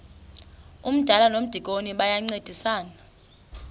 umdala nomdikoni bayancedisana